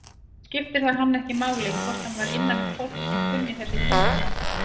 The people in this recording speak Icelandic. Þá skipti það hann ekki máli hvort hann var innanum fólk sem kunni þessi tungumál.